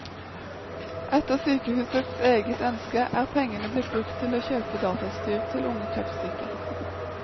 Etter sykehusets eget ønske er pengene blitt brukt til å kjøpe datautstyr til unge kreftsyke.